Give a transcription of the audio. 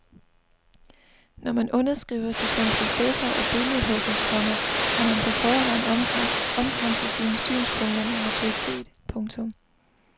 Når man underskriver sig som professor og billedhugger, komma har man på forhånd omkranset sine synspunkter med autoritet. punktum